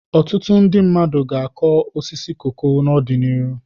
Ọtụtụ ndị mmadụ ga-akụ osisi koko n'ọdịnihu.